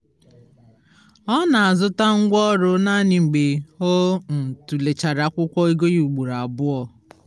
ọ na-azụta ngwá ọrụ naanị mgbe ọ um tụlechara akwụkwọ ego ya ụgboro abụọ